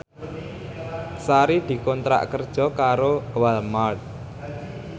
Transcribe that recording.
Sari dikontrak kerja karo Walmart